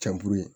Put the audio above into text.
Cɛnburu ye